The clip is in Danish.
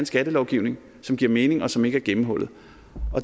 skattelovgivning som giver mening og som ikke er gennemhullet